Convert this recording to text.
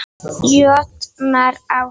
jötnar á hæð.